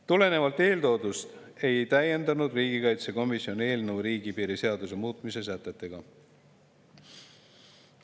Tulenevalt eeltoodust ei täiendanud riigikaitsekomisjon eelnõu riigipiiri seaduse muutmise sätetega.